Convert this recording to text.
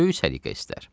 Böyük səliqə istər.